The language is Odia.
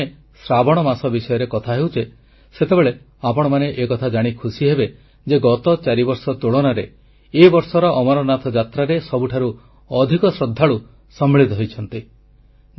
ଯେତେବେଳେ ଆମେ ଶ୍ରାବଣ ମାସ ବିଷୟରେ କଥା ହେଉଛେ ସେତେବେଳେ ଆପଣମାନେ ଏକଥା ଜାଣି ଖୁସି ହେବେ ଯେ ଗତ ଚାରିବର୍ଷ ତୁଳନାରେ ଏ ବର୍ଷର ଅମରନାଥ ଯାତ୍ରାରେ ସବୁଠାରୁ ଅଧିକ ଶ୍ରଦ୍ଧାଳୁ ସମ୍ମିଳିତ ହୋଇଛନ୍ତି